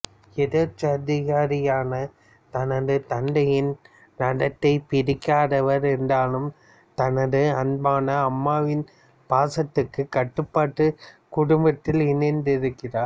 எதோச்சதிகாரியான தனது தந்தையின் நடத்தை பிடிக்காதவர் என்றாலும் தனது அன்பான அம்மாவின் பாசதுதக்கு கட்டுப்பட்டு குடும்பத்தில் இணைந்திருக்கிறார்